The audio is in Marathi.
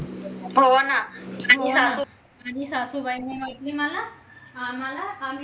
हो ना आणि सासूबाईंनी म्हटले आम्हाला